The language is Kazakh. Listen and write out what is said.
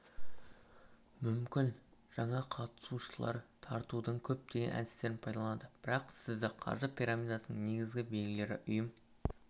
мүмкін және жаңа қатысушылар тартудың көптеген әдістерін пайдаланады бірақ сізді қаржы пирамидасының негізгі белгілері ұйым